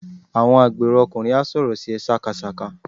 Àwọn agbèrò ọkùnrin á sọ̀rọ̀ sí ẹ sákasàka.